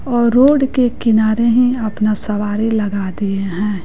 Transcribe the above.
Road के किनारे ही अपना सवारी लगा दिए हैं।